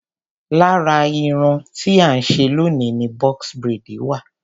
lára irun tí à ń ṣe loni ni box braid wa.